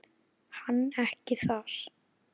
Hann ekki þar.